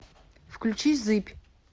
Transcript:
включи зыбь